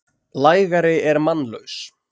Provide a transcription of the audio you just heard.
lægari er mannlaus.